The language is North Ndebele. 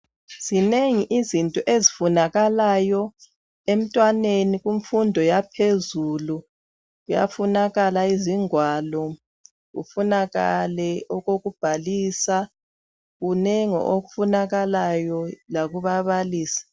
Zinengi izinto ezifunakalayo emntwaneni kumfundo yaphezulu, kuyafunakala izingwalo, kufunakale okokubhalisa kunengi okufunakalayo lakubabalisi.